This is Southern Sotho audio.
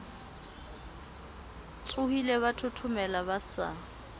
tshohile ba thothomela ba sa